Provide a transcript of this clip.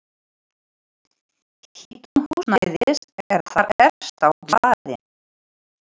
Hitun húsnæðis er þar efst á blaði.